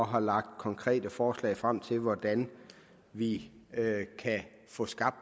har lagt konkrete forslag frem til hvordan vi kan få skabt